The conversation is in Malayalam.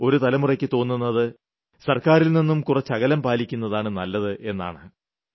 ഇപ്പോഴും ഒരു തലമുറയ്ക്ക് തോന്നുന്നത് സർക്കാരിൽനിന്നും കുറച്ച് അകലം പാലിക്കുന്നതാണ് നല്ലതെന്ന്